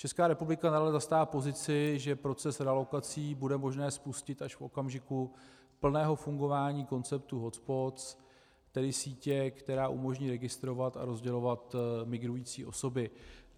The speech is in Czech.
Česká republika nadále zastává pozici, že proces realokací bude možné spustit až v okamžiku plného fungování konceptu hotspots, tedy sítě, která umožní registrovat a rozdělovat migrující osoby.